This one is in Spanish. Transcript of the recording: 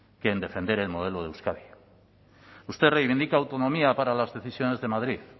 que en defender el modelo de euskadi usted reivindica autonomía para las decisiones de madrid